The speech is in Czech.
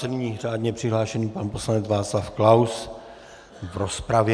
Nyní řádně přihlášený pan poslanec Václav Klaus v rozpravě.